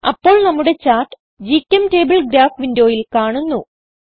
അപ്പോൾ നമ്മുടെ chart GChemTable graph വിൻഡോയിൽ കാണുന്നു